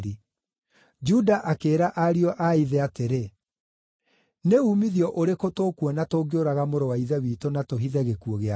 Juda akĩĩra ariũ a ithe atĩrĩ, “Nĩ uumithio ũrĩkũ tũkuona tũngĩũraga mũrũ wa ithe witũ na tũhithe gĩkuũ gĩake?